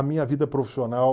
A minha vida profissional...